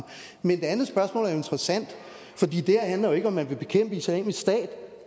men det andet spørgsmål er jo interessant for det her handler jo ikke om om man vil bekæmpe islamisk stat